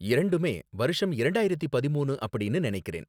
இரண்டுமே வருஷம் இரண்டாயிரத்து பதிமூன்னு அப்படின்னு நனைக்கிறேன்